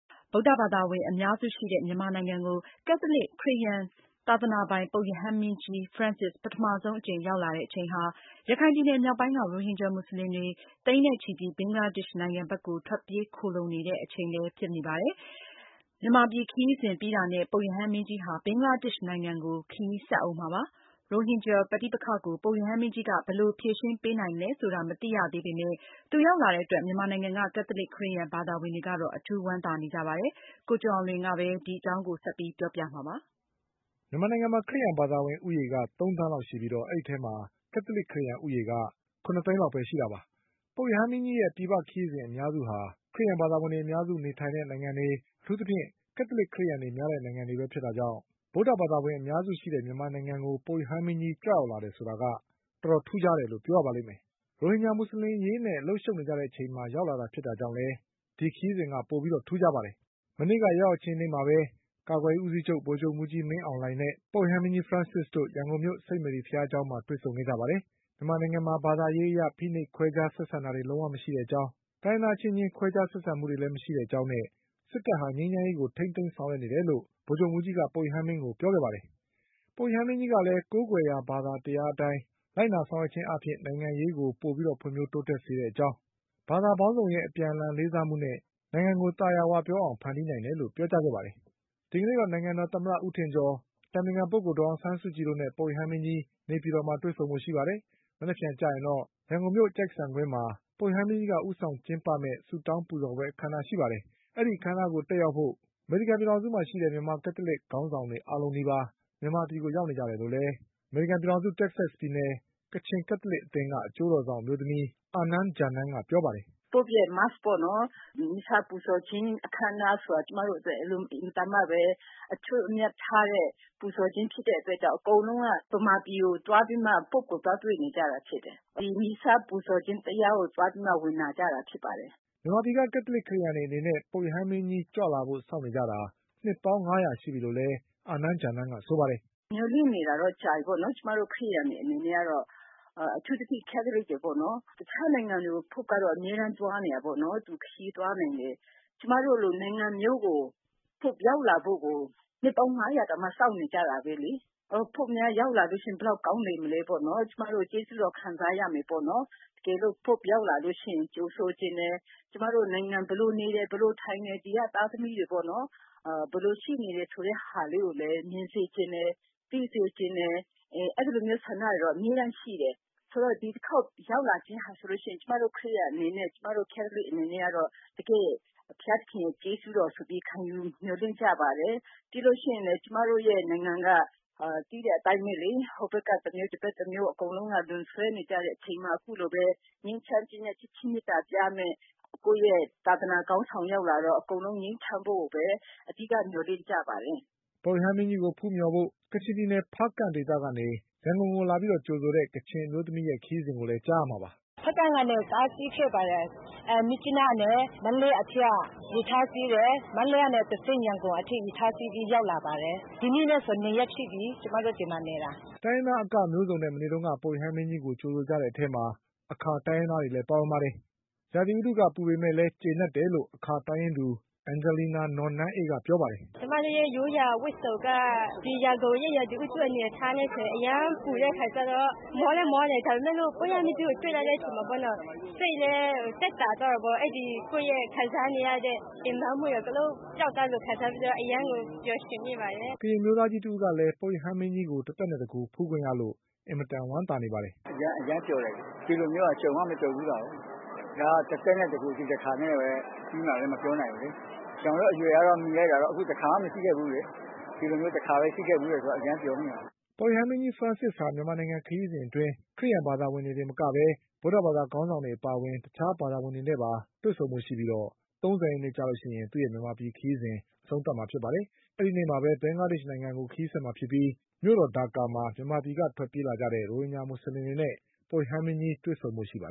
ဗုဒ္ဓဘာသာဝင်အများစုရှိတဲ့ မြန်မာနိုင်ငံကို ကက်သလစ်ခရစ်ယာန် သာသနာပိုင် ပုပ်ရဟန်းမင်းကြီး Francis ပထမဆုံး အကြိမ်ရောက်လာတဲ့အချိန်ဟာ ရခိုင်ပြည်နယ်မြောက်ပိုင်းက ရိုဟင်ဂျာမူဆလင်တွေ သိန်းနဲ့ချီပြီး ဘင်္ဂလားဒေ့ရှ်နိုင်ငံ ဘက်ထွက်ပြေးခိုလှုံနေတဲ့အချိန်မှာရောက်လာခဲ့တာပါ။ မြန်မာပြည်ခရီးစဉ်ပြီးတာနဲ့ ပုပ်ရဟန်းမင်းကြီးက ဘင်္ဂလားဒေ့ရှ်နိုင်ငံကို ခရီးဆက်ဦးမှာပါ။ ရိုဟင်ဂျာ ပဋိပက္ခကို ပုပ်ရဟန်းမင်းကြီးက ဘယ်လိုဖြေရှင်းပေးနိုင်မလဲဆိုတာ မသိရသေးပေမဲ့ သူရောက်လာတဲ့အတွက် မြန်မာနိုင်ငံက ကသလစ်ခရစ်ယာန်ဘာသာဝင်တွေကတော့ အထူးဝမ်းသာနေကြပါတယ်။ ဒီ အကြောင်း ကိုကျော်အောင်လွင်က ဆက်ပြောပါလိမ့်မယ်။ မြန်မာနိုင်ငံမှာ ခရစ်ယာန်ဘာသာဝင်ဦးရေက သုံးသန်းလောက်ရှိပြီး အဲဒီအထဲမှာ ကက်သလစ်ခရစ်ယာန်ဦးရေ က ၇သိန်း လောက်ပဲရှိတာပါ။ ပုပ်ရဟန်းမင်းကြီးရဲ့ပြည်ပခရီးစဉ် အများစုက ခရစ်ယာန်ဘာသာဝင်တွေများတဲ့နိုင်ငံတွေ၊ အထူးသဖြင့် ကက်သလစ် ခရစ်ယာန်တွေများတဲ့ နိုင်ငံတွေဖြစ်တာကြောင့် ဗုဒ္ဓဘာသာဝင်အများစုရှိတဲ့မြန်မာနိုင်ငံကို ပုပ်ရဟန်မင်းကြီး ကြွရောက်လာတယ်ဆိုတာက တော်တော်ထူးခြားတယ်လို့ပြောရပါလိမ့်မယ်။ ရိုဟင်ဂျာမူဆလင်အရေးနဲ့အလုပ်ရှုပ်နေကြ တဲ့အချိန်မှာရောက်လာတာကြောင့်လည်း ပိုပြီးထူးခြားတယ်လို့ဆိုရမှာပါ။ မနေ့ကရောက်ရောက်ချင်းနေ့မှာပဲ ကာကွယ်ရေးဦးစီးချုပ် ဗိုလ်ချုပ်မှူးကြီးမင်းအောင်လှိုင်နဲ့ ပုပ်ရဟန်းမင်းကြီးတို့ ရန်ကုန်မြို့ စိန့်မေရီဘုရားကျောင်းမှာတွေ့ဆုံ ခဲ့ကြပါတယ်။မြန်မာနိုင်ငံမှာ ဘာသာရေးအရ ခွဲခြားဖိနှိပ်ဆက်ဆံမှုတွေလုံးဝမရှိတဲ့အကြောင်း၊ တိုင်းရင်းသားအချင်းချင်း ခွဲခြားဆက်ဆံမှုတွေ မရှိတဲ့အကြောင်းနဲ့ စစ်တပ်ဟာ ငြိမ်းချမ်းရေးကို ထိန်းသိမ်း ဆောင်ရွက်နေတယ် လို့ ဗိုလ်ချုပ်မှုးကြီးက ပုပ်ရဟန်းမင်းကြီးကိုပြောခဲ့ပါတယ်။ ပုပ်ရဟန်းမင်းကြီးကလည်း ကိုးကွယ်ရာဘာသာတရားအတိုင်း လိုက်နာဆောင်ရွက် ခြင်းအားဖြင့် နိုင်ငံရေးကို ပိုပြီးဖွင့်ဖြိုးတိုးတက်စေတဲ့ အကြောင်း၊ ဘာသာပေါင်းစုံရဲ့ အပြန်အလှန် လေးစားမှုနဲ့နိုင်ငံသာယာအောင်ဖန်တီးနိုင်တယ်လို့ပြောကြားခဲ့ပါတယ်။ ဒီကနေ့တော့ နိုင်ငံတော်သမ္မတဦးထင်ကျော်၊ အတိုင်ပင်ခံပုဂ္ဂိုလ်ဒေါ်အောင်ဆန်းစုကြည်တို့နဲ့ ပုပ်ရဟန်းမင်းကြီး နေပြည် တော်မှာ တွေ့ဆုံဖို့ရှိပါတယ်။ မနက်ဖြန်ကျရင် ရန်ကုန်မြို့မှာ ပုရဟန်းမင်းကြီးက ဦးဆောင်ကျင်းပမယ့် ဆုတောင်းပူဇော်ပွဲ အခမ်းအနားကို တက်ရောက်ဖို့ အမေရိကန်ရောက် မြန်မာ ကက်သလစ်ခေါင်းဆောင်တွေ အားလုံးနီးပါး မြန်မာပြည်ကို ရောက်နေကြတယ်လို့ အမေရိကန်ပြည်ထောင်စု တက္ကဆက်ပြည်နယ် ကချင်ကက်သလစ်အသင်းက အကျိုးတော် ဆောင်အမျိုးသမီး အာနန်း ဂျာနန်းကပြောပါတယ်။ “Pope ရဲ့ mass ပေါ့နော် ဒီ Missal ပူဇော်ခြင်းအခမ်းအနားဆိုတာအတွက် ကျမတို့အတွက်အင်မတန်မှ အထွဏ်အမြတ်ထားတာ ဖြစ်တဲ့အတွက်ကြောင့် အကုန်လုံးက မြန်မာပြည်ကိုသွားပြီးမှ Pope ကိုသွားတွေ့နေကြတာဖြစ်တယ်။ ဒီ Missal ပူဇော်ခြင်းတရားကို သွားနာကြဖို့ ဖြစ်ပါတယ်။” မြန်မာပြည်ကကက်သလစ် ခရစ်ယာန်တွေ အနေနဲ့ပုပ်ရဟန်းမင်းကြီးကြွ လာဖို့စောင့်နေကြတာ့ နှစ်ပေါင်း၅ရာရှိပြီလို့လည်း အာနန်း ဂျာနန်းကဆိုပါတယ်။ “မျှော်လင့်နေတာကတော့ ကြာပြီပေါ့နော် ကျမတို့ ခရစ်ယာန်တွေ အနေနဲ့ကတော့။ အထူးသဖြင့်တော့ ကက်သလစ်တွေပေါ့နော် ။ တခြားနိုင်ငံကို Pope ကတော့ အမြဲတမ်းသွားနေတယ်ပေါ့လေ သူခရီးသွားနိုင်တယ်။ ကျမတို့လိုနိုင်ငံမျိုးကို Pope ရောက်လာဖို့ကို နှစ်ပေါင်း ၅၀၀ တောင်မှ စောင့်နေကြတာပဲလေ။ Pope များရောက်လာလို့ရှိရင် ဘယ်လောက်များကောင်းလိုက်မလဲပေါ့နော် ကျမတို့ ကျေးဇူးတော်ခံစားရမယ်ပေါ့နော် တကယ်လို့ Pope ရောက်လာလို့ရှိရင် ကြိုဆိုချင်တယ် ကျမတို့ နိုင်ငံ ဘယ်လိုနေတယ် ဘယ်လိုထိုင်တယ် ၊ ဒီက သားသမီးတွေ ဘယ်လိုရှိနေတယ်ဆိုတာကို မြင်စေချင်တယ်၊ သိစေချင်တယ် အဲဒီလိုမျိုးဆန္ဒတွေကတော့ အမြဲတမ်းရှိတယ်။ ဆိုတော့ ဒီတခေါက်ရောက်လာခြင်းဟာဆိုရင် ကျမတို့ ကက်သလစ်ခရစ်ယာန်တွေ အနေနဲ့တကယ့် ဘုရားသခင်ကျေးဇူးတော်ဆိုပြီးခံယူ မျှော်လင့်ကြပါတယ်။ ပြီးလို့ရှိရင်လည်း ကျမတို့ နိုင်ငံက သိတဲ့အတိုင်းပဲလေ ဟိုဘက်က တမျိုး ဒီဘက်က တမျိုး အကုန်လုံးက လွန်ဆွဲနေကြတဲ့အချိန်မှာ အခုလို ငြိမ်းချမ်းခြင်းနဲ့ ချစ်ခြင်းမေတ္တာပြမယ့် ကိုယ့်သာသနာခေါင်းဆောင်ရောက်လာတော့ အကုန်လုံး ငြိမ်းချမ်းဖို့ကို အဓိက မျှော်လင့်ကြပါတယ်။” ပုပ်ရဟန်းမင်းကြီးကိုဖူးမျှော်ဖို့ ကချင်ပြည်နယ်ဖါးကန့်ဒေသကနေ ရန်ကုန်ကိုလာပြီး ကြိုဆိုတဲ့ ကချင်အမျိုးသမီးတဦးရဲ့ခရီးစဉ်ကိုလည်း နားဆင်ကြည့်ပါဦး။ “ဖားကန့်ကနေ ကားစီးခဲ့ပါတယ်။ မြစ်ကြီးနားကနေ မန္တလေးအထိက ရထားစီးတယ်၊ မန္တလေးကနေတဆင့် ရန်ကုန်အထိ ရထားစီးပြီး ရောက်လာပါတယ်။ ဒီနေ့နဲ့ဆိုရင် ၂ ရက်ရှိပြီ ကျမတို့ ဒီမှာနေတာ။” တိုင်းရင်းသားအကမျိုးစုံနဲ့မနေ့က ပုပ်ရဟန်း မင်းကြီးကို ကြိုဆိုကြတဲ့ အထဲမှာ အခါတိုင်းရင်းသားတွေလည်းပါဝင်ပါတယ်။ ရာသီဥတုကပူပေမဲ့လည်း ကျေနပ်တယ်လို့ အခါတိုင်းရင်းသူ အန်ဂျလီနာ နော်နန်းအေးကပြောပါတယ်။ “ကျမရိုးရာဝတ်စုံက ဒီရန်ကုန်ရာသီဥတုအနေအထားနဲ့ဆိုရင် အရမ်းပူတဲ့အခါကျတော့ မောလည်းမောတယ် ဒါပေမယ့်လို့ ပုပ်ရဟန်း မင်းကြီးကိုတွေ့လိုက်တဲ့အခါကျတော့ စိတ်လည်း သက်သာသွားတာပေါ့။ အဲဒီ ကိုယ့်ခံစားနေရတဲ့ ပင်ပမ်းမှုတွေအကုန်လုံး ပြောက်သွားတယ်လို့ ခံစားပြီးတော့ အရမ်းကို ပျော်ရွင်မိပါတယ်။” ကရင်အမျိုးသားကြီးတဦးကလည်း ပုပ်ရဟန်းမင်းကြီးကို တသက်နဲ့တကိုယ်ဖူးခွင့်ရလို့ အင်မတန်ဝမ်းသာနေပါတယ်။ “အရမ်းအရမ်းကိုဝမ်းသာပါတယ် တခါမှာ မကြုံဖူးတာကို ဒါတသက်နဲ့ တကိုယ် ဒီတခါပဲ ။ ကျနော်တို့အရွယ်ကတော့ မီလိုက်တာကတော့ တခါမှ မရှိခဲ့ဖူးဘူးလေ။ ဒီလို တခါပဲ ရှိခဲ့တယ်ဆိုတော့ အရမ်းပျော်မိပါတယ်။” ပုပ်ရဟန်းမင်းကြီး ဖရန့်ဆစ်ဟာ မြန်မာနိုင်ငံခရီးစဉ် အတွင်း ခရစ်ယာန်ဘာသာဝင်တွေသာမကပဲ ဗုဒ္ဓဘာသာခေါင်းဆောင်တွေအပါအဝင် တခြားဘာသာဝင်တွေနဲ့ပါတွေ့ဆုံ ဖို့ရှိပြီး ၃၀ရက်နေ့မှာ သူ့ရဲ့မြန်မာပြည်ခရီးစဉ်ကိုအဆုံးသတ်မှာပါ။ အဲဒီနေ့မှာပဲ ဘင်္ဂလားဒေ့ရှ်နိုင်ငံကို ခရီးဆက်မှာဖြစ် ပြီး မြို့တော်ဒါကာမှာ မြန်မာပြည်ကထွက်ပြေးလာကြတဲ့ ရိုဟင်ဂျာ မူဆလင်တွေ နဲ့ပုပ်ရဟန်းမင်းကြီးတွေ့ဆုံဖို့ရှိပါ